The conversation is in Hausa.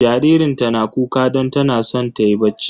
Jaririnta na kuka don tana son ta yi bacci.